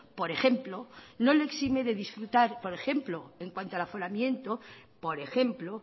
por ejemplo no le exime de disfrutar por ejemplo en cuanto al aforamiento por ejemplo